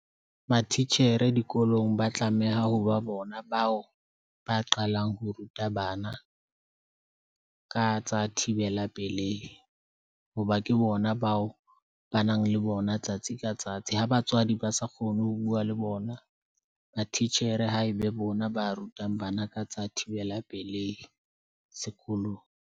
Mathitjhere dikolong ba tlameha ho ba bona bao ba qalang ho ruta bana ka tsa thibela pelehi hoba ke bona ba o ba nang le bona tsatsi ka tsatsi. Ha batswadi ba sa kgone ho bua le bona, ba titjhere ha e be bona ba rutang bana ka tsa thibela pelehi sekolong.